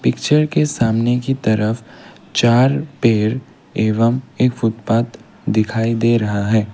Picture के सामने की तरफ चार पेड़ एवं एक फूटपाथ दिखाई दे रहा है।